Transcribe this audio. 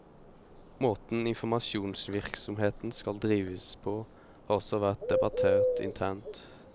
Måten informasjonsvirksomheten skal drives på har også vært debattert internt.